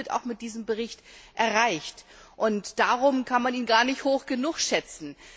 Beides wird mit diesem Bericht auch erreicht, und darum kann man ihn gar nicht hoch genug schätzen.